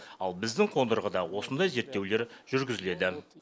ал біздің қондырғыда осындай зерттеулер жүргізіледі